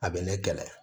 A bɛ ne kɛlɛ